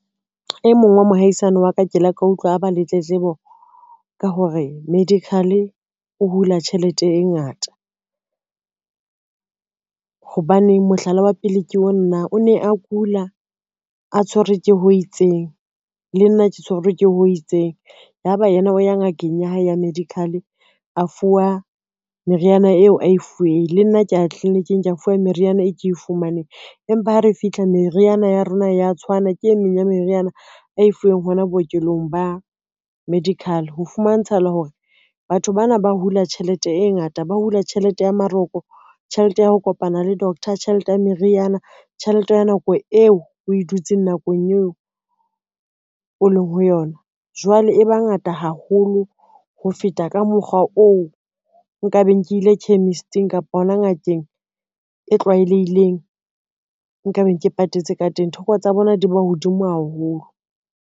E mong wa mohaisane wa ka ke la ka utlwa a ba le tletlebo ka hore medical o hula tjhelete e ngata. Hobaneng mohlala wa pele ke onanang o ne a kula, a tshwerwe ke ho itseng, le nna ke tshwerwe ke ho itseng, ya ba yena o ya ngakeng ya hae ya medical a fuwa meriana eo a e fuwe, le nna kea ya tliliniking ke a fuwa meriana e ke e fumaneng, empa ha re fihla meriana ya rona ya tshwana, ke e meng ya meriana a e fuweng hona bookelong ba medical. Ho fumantshahala hore batho bana ba hula tjhelete e ngata, ba hula tjhelete ya maroko, tjhelete ya ho kopana le doctor, tjhelete ya meriana, tjhelete ya nako eo o e dutseng nakong eo o leng ho yona, jwale e ba ngata haholo ho feta ka mokgwa oo nka beng ke ile chemist-ing kapa hona ngakeng e tlwaelehileng nka beng ke patetse ka teng, thoko tsa bona di ba hodimo haholo.